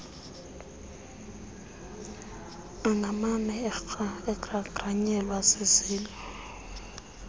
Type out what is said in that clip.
angamane egrangranyelwe zizilo